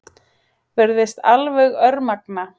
Virðist alveg örmagna.